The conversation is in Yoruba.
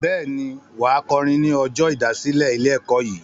Bẹ́ẹ̀ ni, wà á kọrin ní ọjọ́ ìdásílẹ̀ ilé-ẹ̀kọ́ yìí.